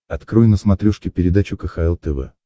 открой на смотрешке передачу кхл тв